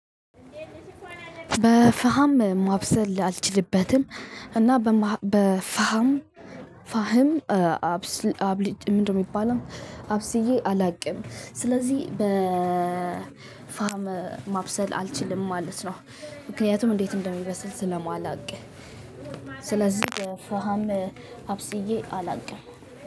በፋሃም ማብሰል አልችልበትም እና በፋህም ፋህም አብስል አብሊጭ ምንድነው የሚባለው አብስዬ አላውቅም። ስለዚህ ፋህም ማብሰል አልችልም ማለት ነው። ምክንያቱም እንዴት እንደሚበስል ስለማላውቅ። ስለዚህ ፋሃም አብስዬ አላውቅም